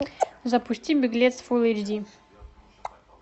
запусти беглец фул эйч ди